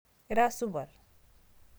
ira supat?